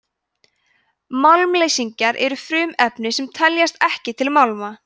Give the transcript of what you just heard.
málmleysingjar eru frumefni sem teljast ekki til málma